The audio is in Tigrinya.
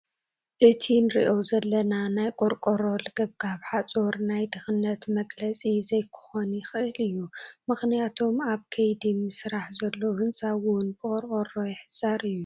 እቲ ንሪኦ ዘለና ናይ ቆርቆሮ ልግብጋብ ሓፁር ናይ ድኽነት መግለፂ ዘይክኾን ይኽእል እዩ፡፡ ምኽንያቱም ኣብ ከይዱ ምስራሕ ዘሎ ሕንፃ እውን ብቖርቆሮ ይሕፀር እዩ፡፡